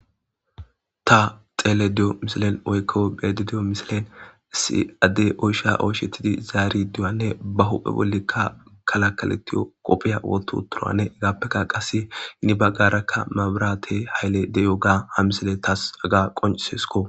ta xeele diyo misilen woykko bede diyo misilen isi adde oysha oyshetidi zaari duyanne ba huphe bollikka kalakaletiyo qopphiya woto turanne egappekka qasse ini baggarakka maaburate hayle deyo ga ha misile taas aga qoncsesko